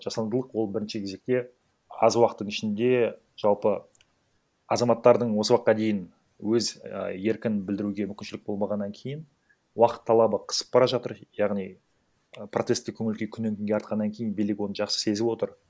жасандылық ол бірінші кезекте аз уақыттың ішінде жалпы азаматтардың осы уақытқа дейін өз а еркін білдіруге мүмкіншілік болмағаннан кейін уақыт талабы қысып бара жатыр яғни протесттік көңіл күй оны күннен күнге артқаннан кейін билік оны жақсы сезіп отыр